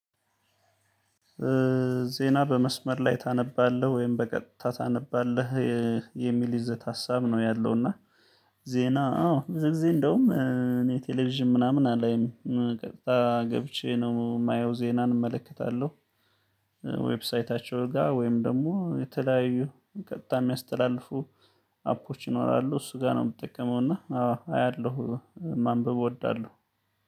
ዜና በመስመር ላይ ታነባለህ ወይም በቀጥታ ታነባለህ? የሚል ይዘት ሀሳብ ነው ያለው። እና ዜና አዎ ብዙ ጊዜ እንደውም እኔ ቴሌቪዥን ምናምን አላይም ቀጥታ ገብቼ ነው የማየው ዜናን እመለከታለሁ። ዌብሳይታቸው ጋር ወይም ደግሞ የተለያዩ ቀጥታ የሚያስተላልፉ አፖች ይኖራሉ እሱ ጋር ነው የምጠቀመው። እና አዎ አያለሁ። ማንበብ እወዳለሁ።